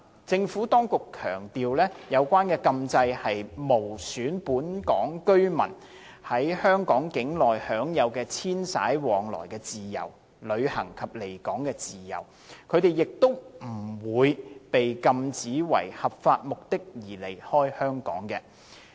政府當局強調，有關禁制無損本港居民在香港境內享有遷徙往來的自由、旅行及離港自由，他們亦不會被禁止為合法目的而離開香港。